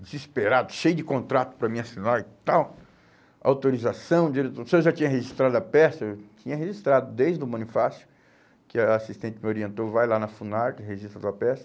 desesperado, cheio de contrato para me assinar e tal, autorização, se eu já tinha registrado a peça, eu tinha registrado desde o Bonifácio, que a assistente me orientou, vai lá na Funarte, registra sua peça.